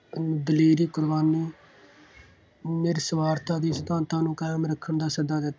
ਦਲੇਰੀ, ਕੁਰਬਾਨੀ ਨਿਰਸੁਆਰਥਾਂ ਦੇ ਸਿਧਾਂਤਾਂ ਨੂੰ ਕਾਇਮ ਰੱਖਣ ਦਾ ਸੱਦਾ ਦਿੱਤਾ।